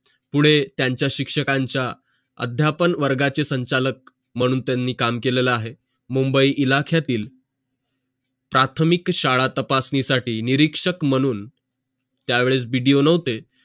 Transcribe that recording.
पुढे त्यांचा शिक्षकांचं अध्यापन वर्गाचे संचालक मानून त्यांनी काम केलेलं आहे मुंबई इलाख्यातील प्राथमिक शाळा तपासणी साठी निरीक्षक मानून त्या वेळेस BDO नव्हते